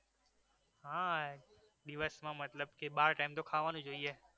હા દિવસમાં મતલબ કે બાર time તો ખાવાનું જોઈએ